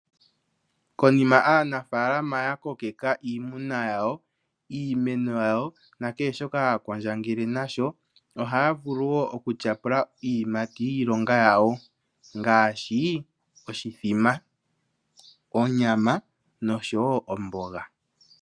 Konima aanafaalama ya kokeka iimuna yawo, iimeno yawo nakehe shoka haya kwandjangele nasho ohaya vulu woo otyapula iiyimati yiilonga yawo ngaashi oshithima, onyama noshowo omboga.